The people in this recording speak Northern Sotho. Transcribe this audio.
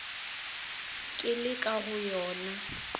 ke le ka go yona